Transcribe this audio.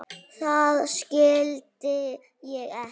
Það skildi ég ekki.